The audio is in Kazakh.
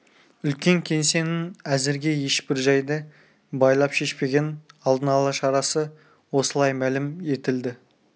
үлкен кеңсенің әзірге ешбір жайды байлап шешпеген алдын ала шарасы осылай мәлім етілді